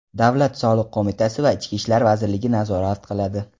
Davlat soliq qo‘mitasi va Ichki ishlar vazirligi nazorat qiladi.